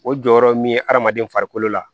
O jɔyɔrɔ min ye adamaden farikolo la